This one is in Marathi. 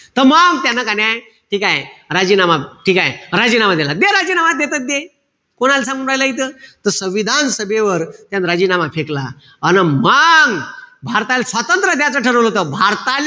त मंग त्यानं का नाई ठीकेय? राजीनामा. ठीकेय? राजीनामा देला. दे राजीनामा देतो त दे. कोणाल सांगू राहिला इथं. संविधान सभेवर त्यानं राजीनामा फेकला. अन मंग भारताले स्वातंत्र्य द्याचं ठरवलं होत. भारताले,